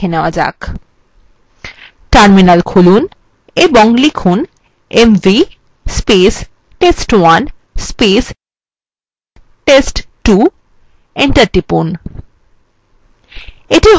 terminal খুলুন এবং লিখুন mv test1 test2 enter টিপুন